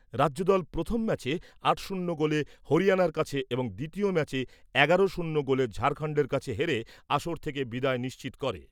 রাজ্যদল প্রথম ম্যাচে আট শূন্য গোলে হরিয়ানার কাছে এবং দ্বিতীয় ম্যাচে এগারো শূন্য গোলে ঝাড়খন্ডের কাছে হেরে আসর থেকে বিদায় নিশ্চিত করে ।